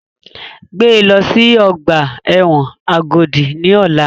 Gbé lọ sí ọgbà ẹ̀wọ̀n Agodi ní ọ̀la!